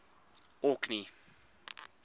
orkney